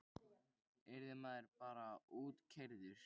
Yrði maður bara útkeyrður?